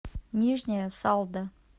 нижняя салда